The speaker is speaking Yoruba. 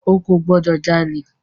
O kò gbọ́dọ̀ jalè!